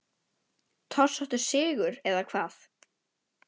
Torsóttur sigur eða hvað?